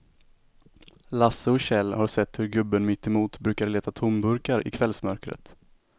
Lasse och Kjell har sett hur gubben mittemot brukar leta tomburkar i kvällsmörkret.